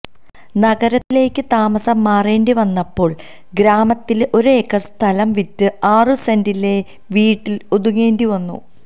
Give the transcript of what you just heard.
നഗരത്തിലേക്ക് താമസം മാറേണ്ടിവന്നപ്പോള് ഗ്രാമത്തിലെ ഒരേക്കര് സ്ഥലം വിറ്റ് ആറു സെന്റിലെ വീട്ടില് ഒതുങ്ങേണ്ടിവന്നു